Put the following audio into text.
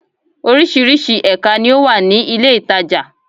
Orísirísi èka ni ó wà ní ilé ìtajà